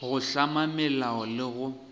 go hlama melao le go